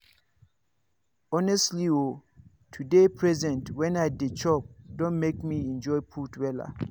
honestly o to dey present when i dey chop don make me enjoy food wella.